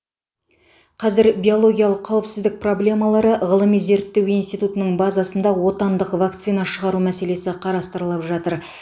қазір биологиялық қауіпсіздік проблемалары ғылыми зерттеу институтының базасында отандық вакцина шығару мәселесі қарастырылып жатыр